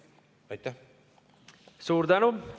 Suur tänu!